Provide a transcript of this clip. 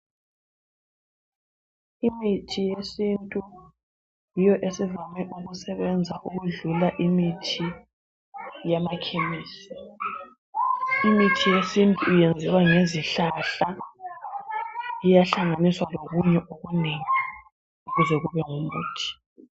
Imithi yesintu yiyo esivame ukusebenza ukwedlula imithi eyamakhemisi. Imithi yesintu yenziwa ngezihlahla iyahlanganiswa lokunye okunengi kuze kube ngumuthi.